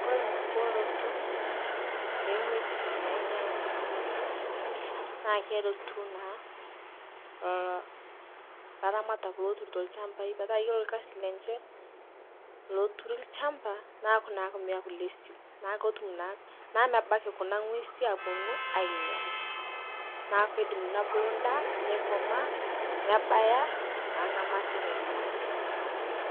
Kore nkubooroto eng'wesi nainyal nkutubulunotoo naa keretu naa lolo laramatak loturuto lchampai petaa kore lkazi lenshe loturi lshampa naaku naake meakuu le siu naa kotum naa mebaki kuna ng'wesi aponuu ainyal naaku keidim nobulu ndaa neikomaa nebaya naa ng'amata naidim nenyai.